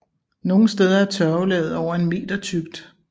Nogle steder er tørvelaget over en meter tykt